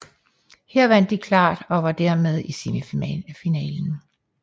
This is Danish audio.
Her vandt de klart og var dermed i semifinalen